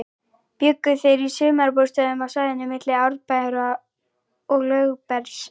Bjuggu þeir í sumarbústöðum á svæðinu milli Árbæjar og Lögbergs.